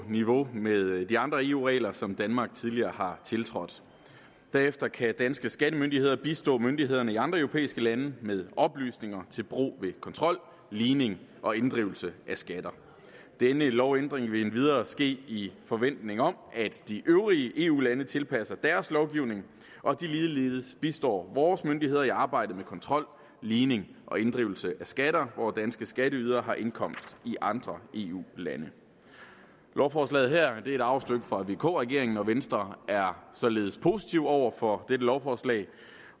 niveau med de andre eu regler som danmark tidligere har tiltrådt derefter kan danske skattemyndigheder bistå myndighederne i andre europæiske lande med oplysninger til brug ved kontrol ligning og inddrivelse af skatter denne lovændring vil endvidere ske i forventning om at de øvrige eu lande tilpasser deres lovgivning og de ligeledes bistår vores myndigheder i arbejdet med kontrol ligning og inddrivelse af skatter hvor danske skatteydere har indkomst i andre eu lande lovforslaget her er et arvestykke fra vk regeringen og venstre er således positiv over for dette lovforslag